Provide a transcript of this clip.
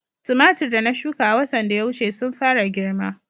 Tumatir da na shuka a watan da ya wuce sun fara girma